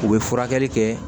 U bɛ furakɛli kɛ